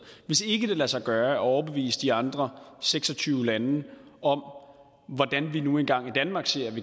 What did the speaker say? hvis ikke det lader sig gøre at overbevise de andre seks og tyve lande om hvordan vi nu engang i danmark